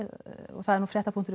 og það er